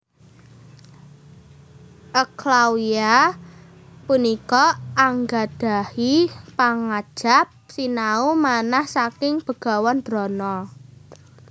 Eklawya punika anggadhahi pangajap sinau manah saking Begawan Drona